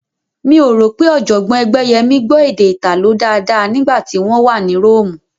Mi ò rò pé Ọ̀jọ̀gbọ́n Ẹgbẹ́yẹmí gbọ́ èdè Ìtàló dáadáa nígbà tí wọ́n wà ní Róòmù